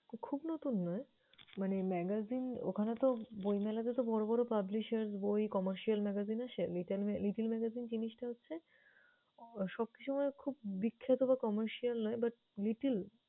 খুব নতুন নয় মানে magazine ওখানেতো বইমেলাতে তো বড় বড় publishers বই, comercial magazine আসে, little mag~ little magazine জিনিসটা হচ্ছে উহ সবসময় খুব বিখ্যাত বা commercial নয় but little